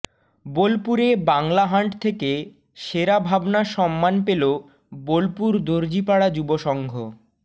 বোলপুরে বাংলা হান্ট থেকে সেরা ভাবনা সম্মান পেলো বোলপুর দর্জিপাড়া যুব সংঘ